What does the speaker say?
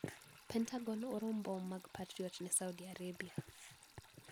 Pentagon oro mbom mag Patriot ne Saudi Arabia.